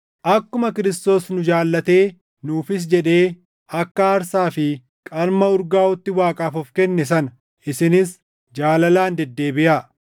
akkuma Kiristoos nu jaallatee nuufis jedhee akka aarsaa fi qalma urgaaʼuutti Waaqaaf of kenne sana isinis jaalalaan deddeebiʼaa.